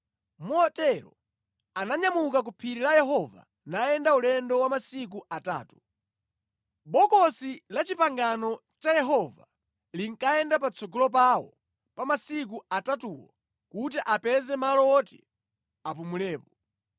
Motero ananyamuka ku Phiri la Yehova nayenda ulendo wa masiku atatu. Bokosi la Chipangano cha Yehova linkayenda patsogolo pawo pa masiku atatuwo kuti apeze malo woti apumulepo.